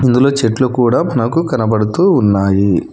ఇందులో చెట్లు కూడా నాకు కనబడుతూ ఉన్నాయి.